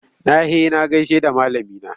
Na he na gaishe da malamina.